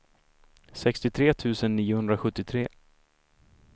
sextiotre tusen niohundrasjuttiotre